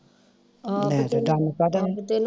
ਤੇ ਦਮ ਕਾਹਦਾ